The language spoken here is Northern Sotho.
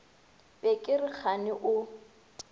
be ke re kgane o